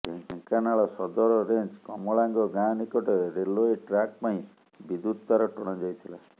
ଢେଙ୍କାନାଳ ସଦର ରେଞ୍ଜ କମଳାଙ୍ଗ ଗାଁ ନିକଟରେ ରେଲୱେ ଟ୍ରାକ ପାଇଁ ବିଦ୍ୟୁତ ତାର ଟଣାଯାଇଥିଲା